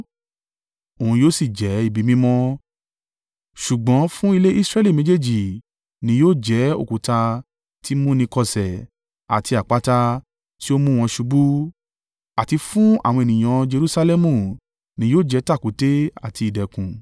Òun yóò sì jẹ́ ibi mímọ́ ṣùgbọ́n fún ilé Israẹli méjèèjì ni yóò jẹ́, òkúta tí í mú ni kọsẹ̀ àti àpáta tí ó mú wọn ṣubú àti fún àwọn ènìyàn Jerusalẹmu ni yóò jẹ́ tàkúté àti ìdẹ̀kùn.